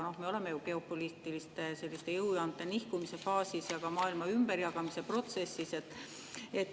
Me oleme geopoliitiliste jõujoonte nihkumise faasis ja ka maailma ümberjagamise protsessis.